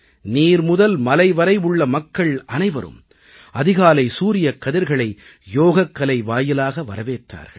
நீர் முதல் மலை வரை உள்ள மக்கள் அனைவரும் அதிகாலை சூரியக் கதிர்களை யோகக்கலை வாயிலாக வரவேற்றார்கள்